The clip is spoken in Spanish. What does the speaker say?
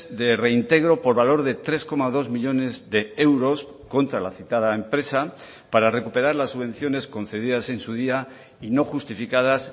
de reintegro por valor de tres coma dos millónes de euros contra la citada empresa para recuperar las subvenciones concedidas en su día y no justificadas